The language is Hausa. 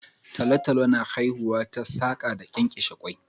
Talotalo na haihuwa ta saka da kenkeshe ƙwoi